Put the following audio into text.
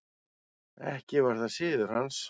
Ekki var það siður hans.